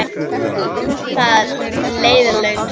Það leið löng stund.